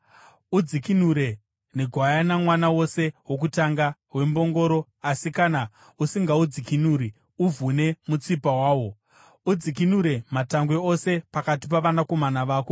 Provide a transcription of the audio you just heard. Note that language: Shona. Udzikinure negwayana mwana wose wokutanga wembongoro, asi kana usingaudzikinuri, uvhune mutsipa wawo. Udzikinure matangwe ose pakati pavanakomana vako.